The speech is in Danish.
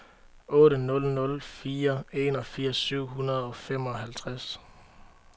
otte nul nul fire enogfirs syv hundrede og femoghalvtreds